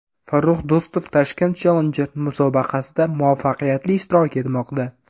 Farrux Do‘stov Tashkent Challenger musobaqasida muvaffaqiyatli ishtirok etmoqda.